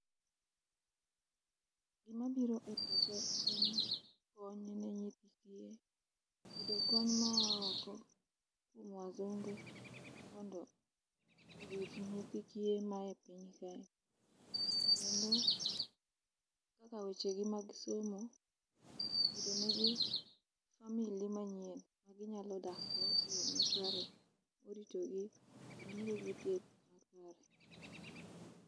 Gima biro e pacha en ni, kony ne nyithi kiye, yudo kony maa oko kuom wazunge mondo orit nyithi kiye mae piny kae. Kendo kaka weche gi mag somo yudo ne gi family manyien ma ginyalo dak go e yoo makare irito gi kendo miyo gi thieth makare.